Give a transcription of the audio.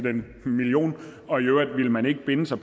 en million og i øvrigt ville man ikke binde sig